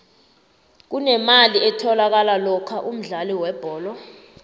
kunemali etholakalako lokha umdlali webholo